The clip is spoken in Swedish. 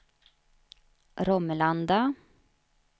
Romelanda